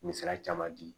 Misaliya caman di